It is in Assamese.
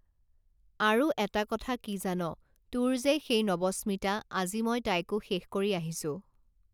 আৰু এটা কথা কি জান তোৰ যে সেই নৱস্মিতা আজি মই তাইকো শেষ কৰি আহিছো